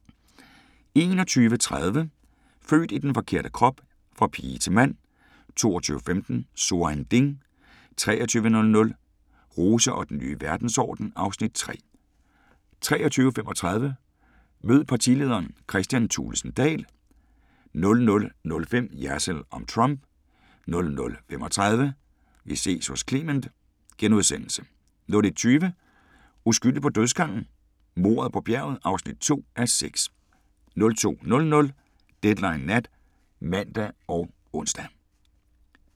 21:30: Født i den forkerte krop: Fra pige til mand 22:15: So ein Ding 23:00: Rose og den nye verdensorden (Afs. 3) 23:35: Mød partilederen: Kristian Thulesen Dahl 00:05: Jersild om Trump * 00:35: Vi ses hos Clement * 01:20: Uskyldig på dødsgangen? Mordet på bjerget (2:6) 02:00: Deadline Nat (man og ons)